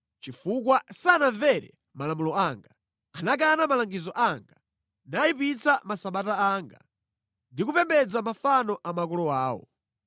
chifukwa sanamvere malamulo anga, anakana malangizo anga, nayipitsa masabata anga, ndi kupembedza mafano a makolo awo.